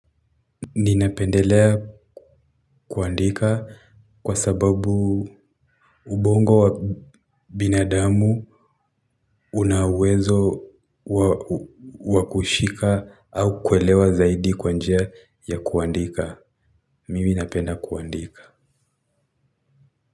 Ninapendelea kuandika kwa sababu ubongo wa binadamu una uwezo wakushika au kuelewa zaidi kwa njia ya kuandika. Mimi napenda kuandika.